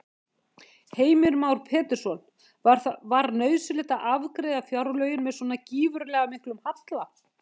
Heimir Már Pétursson: Var nauðsynlegt að afgreiða fjárlögin með svona gífurlega miklum halla?